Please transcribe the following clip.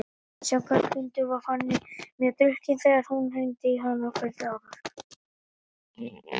Samkvæmt Huldu var Fanný mjög drukkin þegar hún hringdi í hana kvöldið áður.